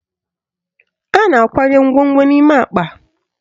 A na-akwanye ngwongwo n'ime akpa